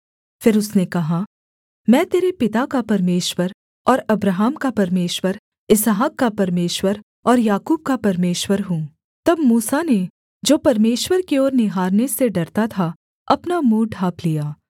फिर उसने कहा मैं तेरे पिता का परमेश्वर और अब्राहम का परमेश्वर इसहाक का परमेश्वर और याकूब का परमेश्वर हूँ तब मूसा ने जो परमेश्वर की ओर निहारने से डरता था अपना मुँह ढाँप लिया